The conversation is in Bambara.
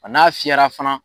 A n'a fiyɛra fana